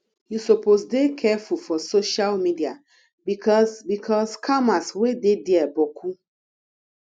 you suppose dey careful for social media bicos bicos scammers wey dey dia boku